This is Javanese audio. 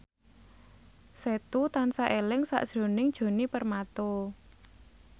Setu tansah eling sakjroning Djoni Permato